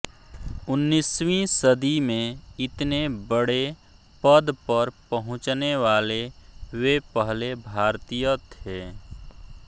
उन्नीसवीं सदी में इतने बड़े पद पर पहुँचने वाले वे पहले भारतीय थे